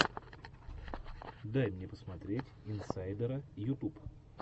дай мне посмотреть инсайдера ютуб